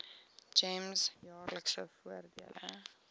gems jaarlikse voordele